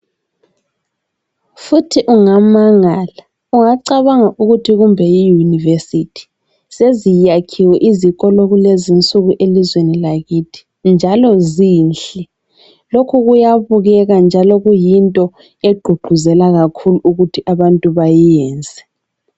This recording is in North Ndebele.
Futhi ungamangala, ungacabanga ukuthi kumbe yi university. Seziyakhiwe izikolo kulezi insuku elizweni lakithi njalo zinhle. Lokhu kuyabukeka njalo kuyinto egqugquzela kakhulu ukuthi abantu bayiyenze.